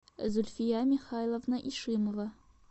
зульфия михайловна ишимова